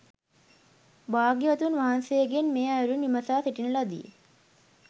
භාග්‍යවතුන් වහන්සේගෙන් මේ අයුරින් විමසා සිටින ලදී.